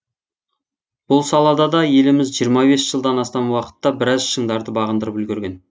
бұл салада да еліміз жиырма бес жылдан астам уақытта біраз шыңдарды бағындырып үлгерген